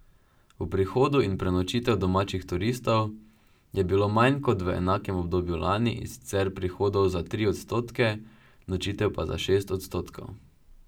Prihodov in prenočitev domačih turistov je bilo manj kot v enakem obdobju lani, in sicer prihodov za tri odstotke, nočitev pa za šest odstotkov.